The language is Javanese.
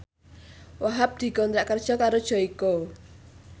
Wahhab dikontrak kerja karo Joyko